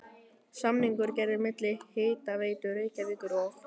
Samningur gerður milli Hitaveitu Reykjavíkur og